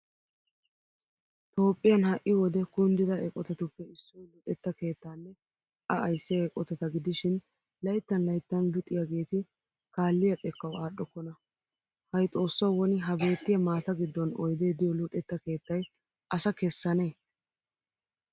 Toophphiyan ha'i wode kundida eqotattuppe issoy luxetta keettanne A ayssiya eqotata gidishiin layttan layttan luxxiyaageetti kaalliya xekkawu aadhdhokonna. Hay xoossawu woni ha beettiya maata gidon oydee diyo luxetta keettay asa kessanne?